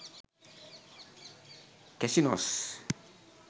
casinos